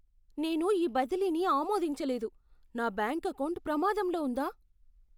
నేను ఈ బదిలీని ఆమోదించలేదు. నా బ్యాంకు ఎకౌంటు ప్రమాదంలో ఉందా?